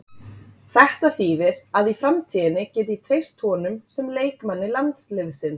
Þetta þýðir að í framtíðinni get ég treyst honum sem leikmanni landsliðsins.